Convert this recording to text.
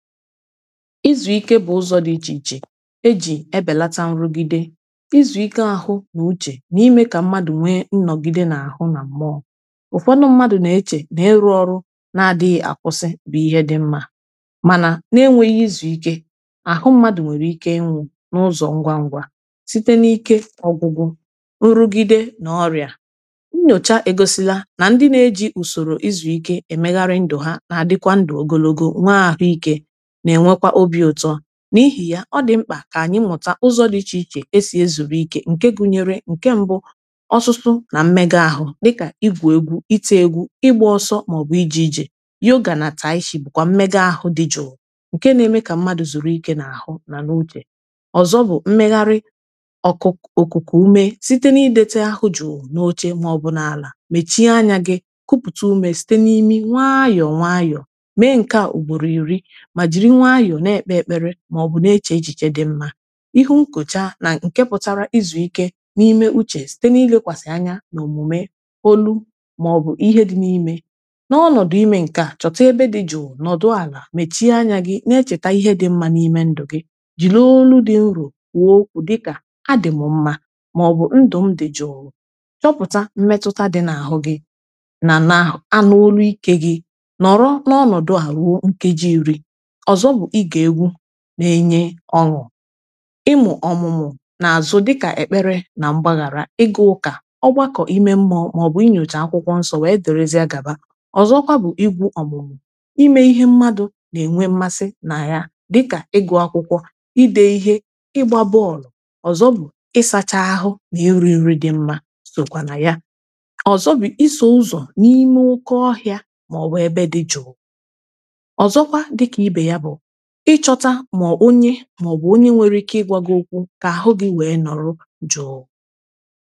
Izu ike bụ ụzọ dị iche iche eji ebelata nrụgide, izu ike ahụ n'uche na-ime ka mmadụ nwee nnogide na-ahụ na mmụọ. Ụfọdụ mmadụ na eche na ịrụ ọrụ na adịghị akwụsi bụ ihe dị mma, mana n'enweghị izu ike, ahụ mmadụ nwere ike ịnwụ n'ụzọ ngwa ngwa site na- ike ọgwụgwụ nrụgide na ọrịa. Nyocha egosila na ndị na-eji usoro ịzụ ike emeghari ndụ ha na adịkwa ndụ ogologo nwe ahụike na enwekwa óbị ụtọ, n'ihi yá ọdị mkpa ka anyị mụta ụzọ dị iche iche esi ezube ike nke gụnyere nke mbụ; ọsụsụ na mmega ahụ dịka igwụ egwu, ite egwu, ịgba ọsọ ma ọbu ije ije. Yoga na Taishi bụkwa mmega ahụ dị jụụ nke na eme ka mmadụ zuru ike na ahụ na n'uche. Ọzọ bú mmeghari ọkụ okuku ume site na idete ahụ jụụ na oche ma-obụ n'ala mechie anya gị kuputa ume site n'imi nwayọọ nwayọọ, mee nkea ugboro iri ma jiri nwayọọ na ekpe ekpere ma ọbụ na eche echiche dị mma. Ihunkuchaa na..n nke pụtara izu ike na ime uche site na ilekwasị anya na omume, olu, ma-obụ ihe dị na ime, na ọnọdụ ime nkea, chọta ébé dị jụụ, nọdụ ala, mechie anya gị na echeta ihe dị mma n'ime ndụ gị. Jiri olu dị nro kwuo okwu dịka adị m mma ma-ọbụ ndụ m dị jụụ. Chọpụta mmetụta dị n'ahụ gị, na na anụ olu ike gị na ọnọdụa ruo nkeji iri. Ọzọ bụ ige egwu na enye ọṅụ, imu ọmụmụ na azụ dika ekpere na mgbaghara. Ịga ụka, ogbako ime mmụọ, maọbu nyocha akwụkwọ nsó wee dịrịzịa gaba. Ọzọkwa bu igwu ọmụmụ, i mee Ihe mmadụ na eme mmasị na ya dika ịgụ akwụkwọ, ide ihe, ịgba bọọlu. Ọzọ bụ ịsacha ahụ na ịrị nri dị mma sokwa na ya. Ọzọ bu iso ụzọ n'ime oké ọhịa ma ọbu ebe dị jụụ. Ọzọkwa dịka ibe ya bụ ị chọta mọọ onye, maọbu onye nkwere ike ịgwa gị okwu ka ahụ gị wee nọrọ jụụ